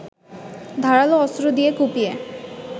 ধারালো অস্ত্র দিয়ে কুপিয়ে